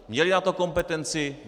Měli na to kompetenci?